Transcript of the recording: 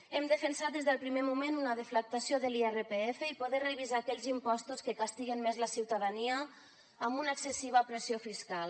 hem defensat des del primer moment una deflactació de l’irpf i poder revisar aquells impostos que castiguen més la ciutadania amb una excessiva pressió fiscal